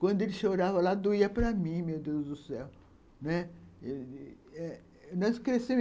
Quando ele chorava lá, doía para mim, meu Deus do céu, né.